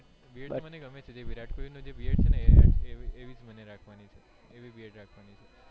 beard મને ગમે છે જે વિરાટ કોહલી નો જે beard છે એવી જ મને રાખવાની છે એવી beard રાખવાની છે.